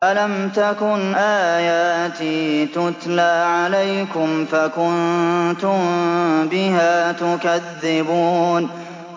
أَلَمْ تَكُنْ آيَاتِي تُتْلَىٰ عَلَيْكُمْ فَكُنتُم بِهَا تُكَذِّبُونَ